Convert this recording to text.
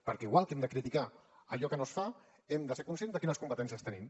perquè igual que hem de criticar allò que no es fa hem de ser conscients de quines competències tenim